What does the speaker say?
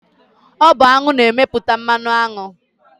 Ọ bụ aṅụ na-emepụta mmanụ aṅụ